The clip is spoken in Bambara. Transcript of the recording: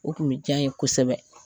O tun bi ja n. ye kosɛbɛ